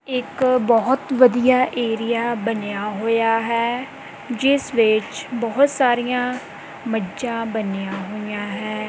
ਇੱਕ ਬਹੁਤ ਵਧੀਆ ਏਰੀਆ ਬਨਿਆ ਹੋਇਆ ਹੈ ਜਿਸ ਵਿੱਚ ਬਹੁਤ ਸਾਰੀਆਂ ਮੱਝਾਂ ਬੰਨਿਆਂ ਹੋਈਆਂ ਹੈਂ।